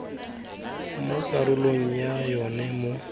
mo karolong ya yona mo